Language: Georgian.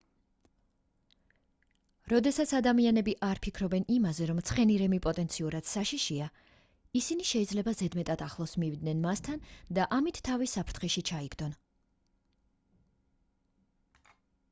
როდესაც ადამიანები არ ფიქრობენ იმაზე რომ ცხენირემი პოტენციურად საშიშია ისინი შეიძლება ზედმეტად ახლოს მივიდნენ მასთან და ამით თავი საფრთხეში ჩაიგდონ